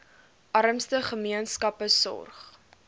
armste gemeenskappe sorg